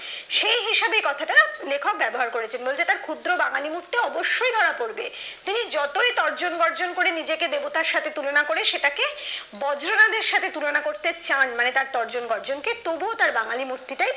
সেই হিসাবে কথাটা লেখক ব্যবহার করেছেন বলতে তার ক্ষুদ্র বাঙালি মূর্তি অবশ্যই ধরা পড়বে তিনি যতই তর্জন বর্জন করে নিজেকে দেবতার সাথে তুলনা করে সেটাকে বর্জনাতের সাথে তুলনা করতে চান মানে তার তর্জন বর্জন কে তবুও তার বাঙালি মূর্তিটাই